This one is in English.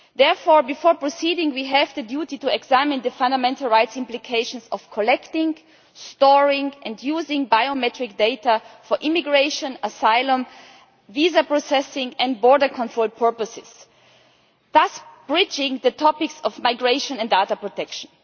Therefore, before proceeding, we have the duty to examine the fundamental rights implications of collecting, storing and using biometric data for immigration, asylum, visa processing and border control purposes, thus bridging the topics of migration and data protection.